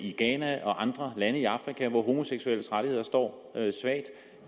i ghana og andre lande i afrika hvor homoseksuelles rettigheder står svagt